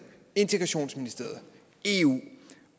integrationsministeriet eu